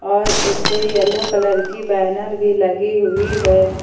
और इस पे येलो कलर की बैनर भी लगी हुई है।